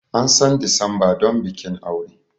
An san Disamba don bikin aure.